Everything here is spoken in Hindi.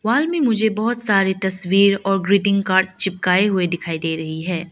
वॉल में मुझे बहुत सारे तस्वीर और ग्रिटिंग कार्ड्स चिपकाए हुई दिखाई दे रही है।